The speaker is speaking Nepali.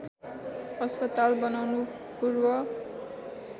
अस्पताल बनाउनु पूर्व